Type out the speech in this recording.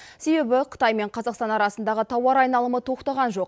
себебі қытай мен қазақстан арасындағы тауар айналымы тоқтаған жоқ